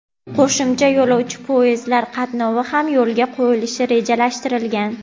qo‘shimcha yo‘lovchi poyezdlar qatnovi ham yo‘lga qo‘yilishi rejalashtirilgan.